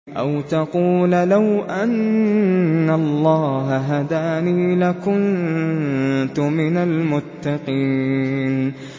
أَوْ تَقُولَ لَوْ أَنَّ اللَّهَ هَدَانِي لَكُنتُ مِنَ الْمُتَّقِينَ